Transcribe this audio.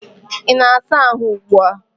Ị na-asa ahụ ugbu a?